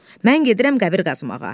Mən gedirəm qəbir qazmağa.